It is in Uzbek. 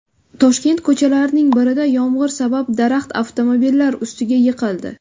Toshkent ko‘chalarining birida yomg‘ir sabab daraxt avtomobillar ustiga yiqildi .